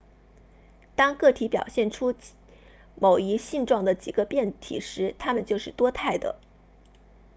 当个体表现出某一性状的几个变体时它们就是多态的